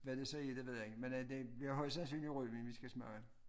Hvad det så er det ved jeg ikke men det bliver højst sandsynligt rødvin vi skal smage